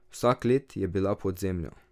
Vsa klet je bila pod zemljo.